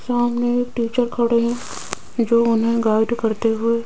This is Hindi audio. सामने एक टीचर खड़े हैं जो उन्हें गाइड करते हुए--